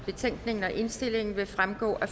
betænkningen og indstillingen vil fremgå af